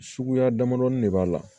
Suguya damadɔni de b'a la